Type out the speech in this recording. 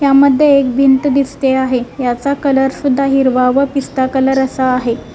यामध्ये एक भिंत दिसते आहे याचा कलर सुद्धा हिरवा व पिस्ता कलर असा आहे.